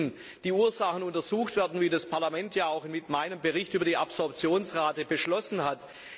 Hier müssen die Ursachen untersucht werden, wie das Parlament ja auch mit meinem Bericht über die Absorptionsrate beschlossen hat.